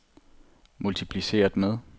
multipliceret med